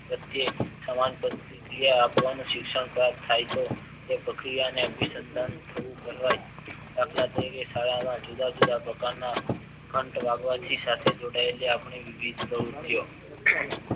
પ્રત્યે સમાન પ્રતીક્રિય આપવાનું શિક્ષણ પ્રાપ્ત થાય તો તે પ્રક્રિયાને અભિસંદન થયું કહેવાય દાખલ તરીકે ઠરાવ જુદા જુદા પ્રકારના ઘંટ વાગવાથી સાથે જોડાય છે